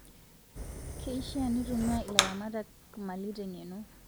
Keishaa nitumia ilaramatak mali te ngeno